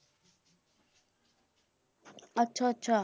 ਅੱਛਾ ਅੱਛਾ।